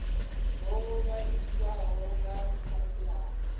ho ṅwalisiwaho nga fhasi ha